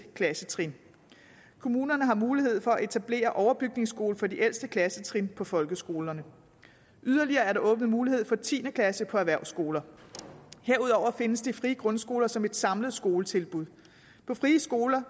klassetrin kommunerne har mulighed for at etablere overbygningsskole for de ældste klassetrin på folkeskolerne yderligere er der åbnet mulighed for tiende klasse på erhvervsskoler herudover findes de frie grundskoler som et samlet skoletilbud på frie skoler